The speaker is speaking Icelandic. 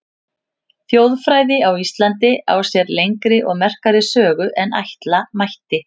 Þjóðfræði á Íslandi á sér lengri og merkari sögu en ætla mætti.